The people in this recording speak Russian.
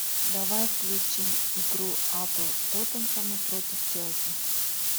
давай включим игру апл тоттенхэма против челси